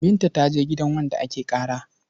Binta ta je gidan wanda ake ƙara.